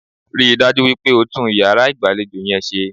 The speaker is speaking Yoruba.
Ríi dájú wípé o tún iyàrá ìgbàlejò yẹn se